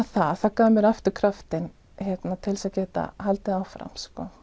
það það gaf mér aftur kraftinn til að geta haldið áfram